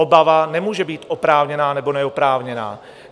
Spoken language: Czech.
Obava nemůže být oprávněná nebo neoprávněná.